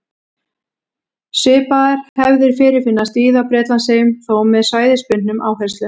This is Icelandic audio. Svipaðar hefðir fyrirfinnast víða á Bretlandseyjum, þó með svæðisbundnum áherslum.